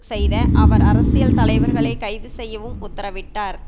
செய்த அவர் அரசியல் தலைவர்களை கைது செய்யவும் உத்தரவிட்டார்